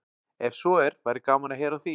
Ef svo er væri gaman að heyra af því.